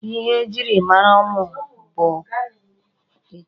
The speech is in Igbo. Ihe e jiri mara ụmụ mụ bụ ekele.